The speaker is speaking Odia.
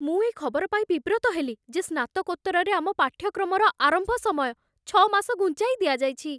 ମୁଁ ଏ ଖବର ପାଇ ବିବ୍ରତ ହେଲି ଯେ ସ୍ନାତକୋତ୍ତରରେ ଆମ ପାଠ୍ୟକ୍ରମର ଆରମ୍ଭ ସମୟ ଛଅ ମାସ ଘୁଞ୍ଚାଇ ଦିଆଯାଇଛି।